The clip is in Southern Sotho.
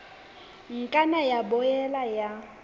ka nna ya boela ya